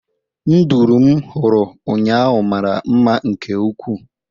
Nduru m hụrụ ụnyahụ mara mma nke ukwuu